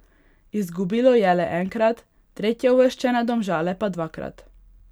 Izgubilo je le enkrat, tretjeuvrščene Domžale pa dvakrat.